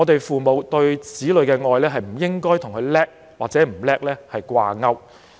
父母對子女的愛不應該與子女是否優秀掛鈎。